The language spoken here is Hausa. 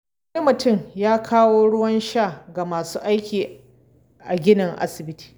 Wani mutum ya kawo ruwan sha ga masu aiki a ginin asibiti.